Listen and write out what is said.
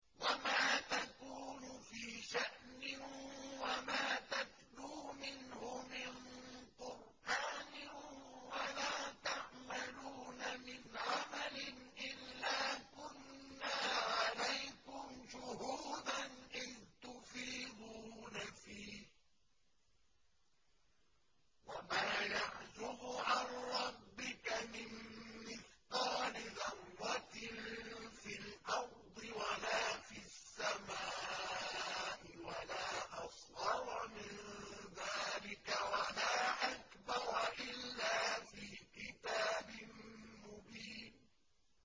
وَمَا تَكُونُ فِي شَأْنٍ وَمَا تَتْلُو مِنْهُ مِن قُرْآنٍ وَلَا تَعْمَلُونَ مِنْ عَمَلٍ إِلَّا كُنَّا عَلَيْكُمْ شُهُودًا إِذْ تُفِيضُونَ فِيهِ ۚ وَمَا يَعْزُبُ عَن رَّبِّكَ مِن مِّثْقَالِ ذَرَّةٍ فِي الْأَرْضِ وَلَا فِي السَّمَاءِ وَلَا أَصْغَرَ مِن ذَٰلِكَ وَلَا أَكْبَرَ إِلَّا فِي كِتَابٍ مُّبِينٍ